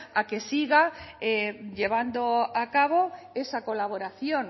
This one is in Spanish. a que siga llevando a cabo esa colaboración